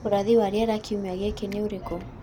ũrathi wa rĩera kĩumĩa giki ni ũrĩkũ